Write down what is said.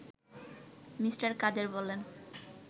Me. Kader বলেন